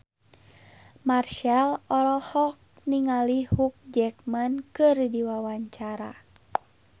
Marchell olohok ningali Hugh Jackman keur diwawancara